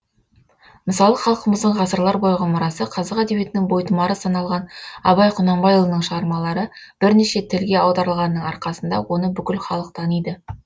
мысалы халқымыздың ғасырлар бойғы мұрасы қазақ әдебиетінің бойтұмары саналған абай құнанбайұлының шығармалары бірнеше тілге аударылғанының арқасында оны бүкіл халық таниды